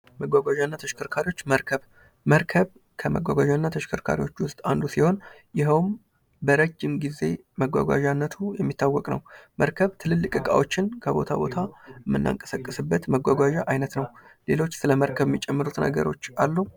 መጓጓዣና ተሽከርካሪዎች መርከብ ከመጓጓዣና ተሽከርካሪዎች ውስጥ አንዱ ሲሆን ይህም በረጅም ጊዜ መጓጓዣነቱ የሚታወቅ ነው። መርከብ ትልልቅ እቃዎችን ከቦታ ቦታ የምናቀሳቅስበት መጓጓዣ አይነት ነው። ሌሎች ስለመርከብ የሚጨምሩት ነገር አሉ?